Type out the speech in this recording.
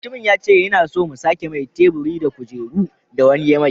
Mutumin yace yana so mu sake mai teburi da kujeru. da wani ya mai